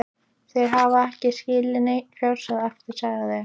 Þeir hafi ekki skilið neinn fjársjóð eftir, sagði